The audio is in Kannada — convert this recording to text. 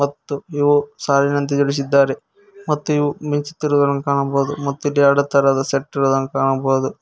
ಮತ್ತು ಇವು ಸಾಲಿನಂತೆ ಜೋಡಿಸಿದ್ದಾರೆ ಮತ್ತು ಇವು ಮಿಂಚುತ್ತಿರುವುದನ್ನು ಕಾಣಬಹುದು ಮತ್ತು ಇಲ್ಲಿ ಎರಡು ತರಹದ ಸೆಟ್ ಇರುವುದನ್ನು ಕಾಣಬಹುದು.